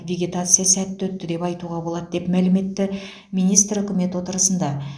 вегетация сәтті өтті деп айтуға болады деп мәлім етті министр үкімет отырысында